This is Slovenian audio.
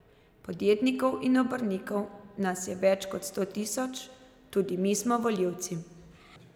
Podjetnikov in obrtnikov nas je več kot sto tisoč, tudi mi smo volivci.